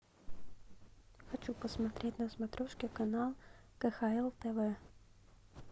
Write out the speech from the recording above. хочу посмотреть на смотрешке канал кхл тв